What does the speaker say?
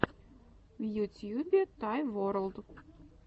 в ютьюбе тай ворлд